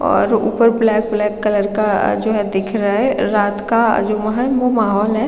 और ऊपर black black colour का जो दिख रहा है रात का जो है वो माहोल है।